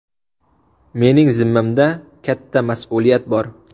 Mening zimmamda katta mas’uliyat bor.